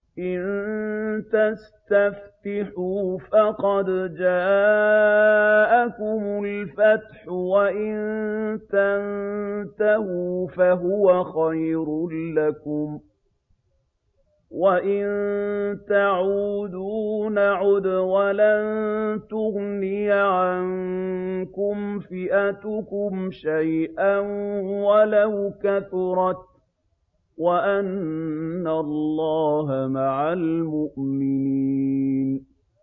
إِن تَسْتَفْتِحُوا فَقَدْ جَاءَكُمُ الْفَتْحُ ۖ وَإِن تَنتَهُوا فَهُوَ خَيْرٌ لَّكُمْ ۖ وَإِن تَعُودُوا نَعُدْ وَلَن تُغْنِيَ عَنكُمْ فِئَتُكُمْ شَيْئًا وَلَوْ كَثُرَتْ وَأَنَّ اللَّهَ مَعَ الْمُؤْمِنِينَ